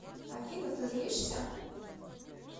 афина ты злишься